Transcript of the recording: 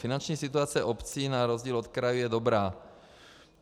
Finanční situace obcí na rozdíl od krajů je dobrá.